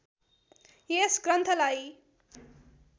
यस ग्रन्थ्‍ालाई